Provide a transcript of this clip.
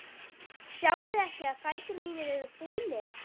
Sjáiði ekki að fætur mínir eru fúnir?